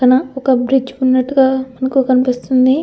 పక్కన ఒక బ్రిడ్జ్ ఉన్నట్టుగా మనకు కనిపిస్తుంది.